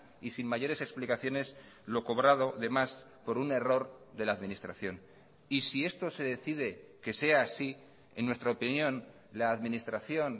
y sin mayores explicaciones lo cobrado de más por un error de la administración y si esto se decide que sea así en nuestra opinión la administración